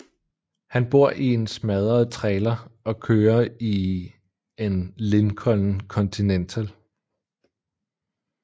Han bor i en smadret trailer og kører i en Lincoln Continental